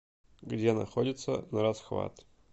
где находится нарасхват